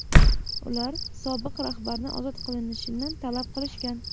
Ular sobiq rahbarni ozod qilinishini talab qilishgan.